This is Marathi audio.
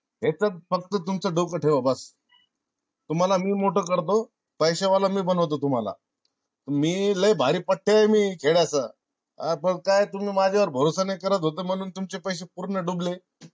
हे च्यात फक्त तुमच डोक ठेवा बास. तुम्हाला मी मोठा करतो. पैसे वाला मी बनवतो तुम्हाला मी लई भारी पठ्ठ्या ये मी खेळाचा आ पण काय तुम्ही माझ्या वर भरोसा नाय करत होते म्हणून तुमचे पैसे पूर्ण डूबले.